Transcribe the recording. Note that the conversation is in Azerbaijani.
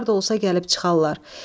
Harda olsa gəlib çıxarlar.